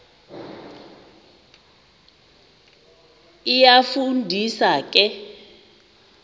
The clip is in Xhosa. iyafu ndisa ke